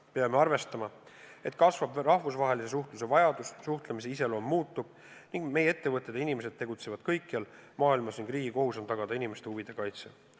Peame arvestama, et kasvab rahvusvahelise suhtluse vajadus, suhtlemise iseloom muutub ning meie ettevõtted ja inimesed tegutsevad kõikjal maailmas ning riigi kohus on tagada inimeste huvide kaitse.